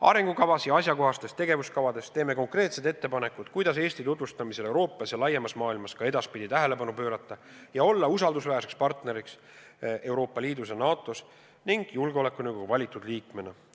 Arengukavas ja asjakohastes tegevuskavades teeme konkreetsed ettepanekud, kuidas Eesti tutvustamisele Euroopas ja laiemas maailmas ka edaspidi tähelepanu pöörata ja olla usaldusväärseks partneriks Euroopa Liidus ja NATO-s ning julgeolekunõukogu valitud liikmena.